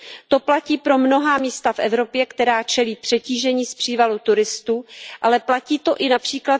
To platí pro mnohá místa v Evropě, která čelí přetížení z přívalu turistů, ale platí to i např.